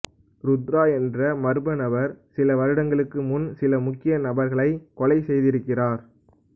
ருத்ரா என்ற மர்மநபர் சில வருடங்களுக்கு முன் சில முக்கிய நபர்களை கொலை செய்திருக்கிறார்